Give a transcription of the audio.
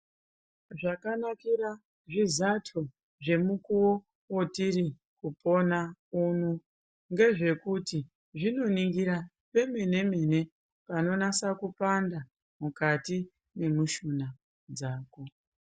Zvakanakira zvizato zvemukuwo watiri kupona uno ngezvekuti zvinoningira pemenemene panonasa kupanda mukati memushuna dzako.